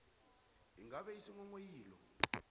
ingabe kghani isinghonghoyilo